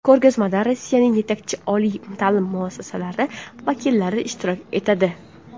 Ko‘rgazmada Rossiyaning yetakchi oliy ta’lim muassasalari vakillari ishtirok etadi.